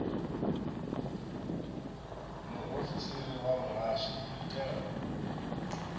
muofisiri wa muhasho u itela